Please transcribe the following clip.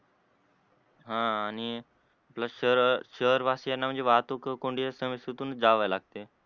हा आणि शहर शहर वाशियांना म्हणजे वाहतूक कोंडी असल्या मुळे तीतूनच जाव लागते.